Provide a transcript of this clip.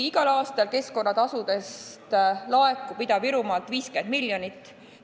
Igal aastal laekub Ida-Virumaalt keskkonnatasu 50 miljonit.